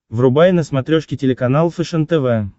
врубай на смотрешке телеканал фэшен тв